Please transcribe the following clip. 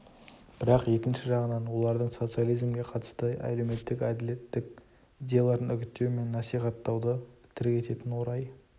бірақ екінші жағынан олардың социализмге қатысты әлеуметтік әділеттік идеяларын үгіттеу мен насихаттауды тірек ететін орай